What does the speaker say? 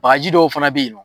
Bakaji dɔw fana be yen nɔn